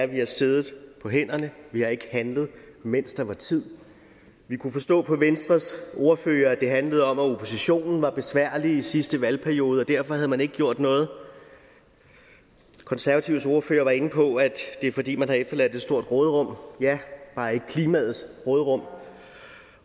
vi har siddet på hænderne vi har ikke handlet mens det var tid vi kunne forstå på venstres ordfører at det handlede om at oppositionen var besværlig i sidste valgperiode og derfor havde man ikke gjort noget konservatives ordfører var inde på at det er fordi man har efterladt et stort råderum ja bare ikke klimaets råderum